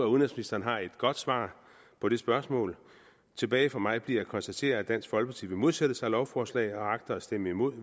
udenrigsministeren har et godt svar på det spørgsmål tilbage for mig bliver at konstatere at dansk folkeparti vil modsætte sig lovforslaget og agter at stemme imod